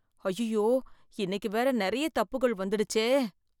அய்யய்யோ இன்னைக்கு வேற நெறைய தப்புகள் வந்துடுச்சே!